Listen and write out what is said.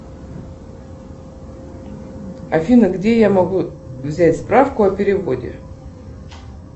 афина где я могу взять справку о переводе